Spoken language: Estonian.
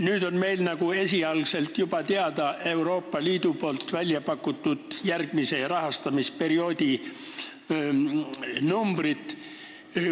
Nüüd on meil juba teada Euroopa Liidu välja pakutud järgmise rahastamisperioodi esialgsed summad.